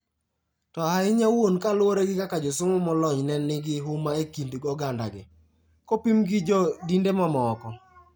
To ahinya wuon kaluwore gi kaka josomo molony ne nigi huma e kind ogandagi, kopimgi gi jo dinde mamoko.